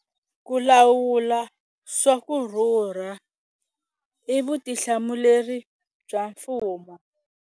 Ku lawula swa ku rhurha i vutihlamuleri bya mfumo.